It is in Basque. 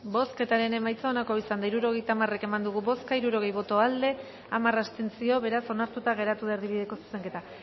bozketaren emaitza onako izan da hirurogeita hamar eman dugu bozka hirurogei boto aldekoa hamar abstentzio beraz onartuta geratu da erdibideko zuzenketa